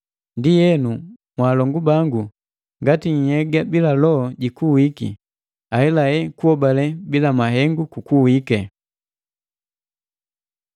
Ndienu mwaalongu bangu ngati nhyega bila loho jikuwike, ahelahela kuhobale bila mahengu kukuwike.